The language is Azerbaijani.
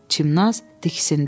Çimnaz diksindi.